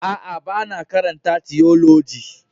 A'a, ba na karanta tiyoloji.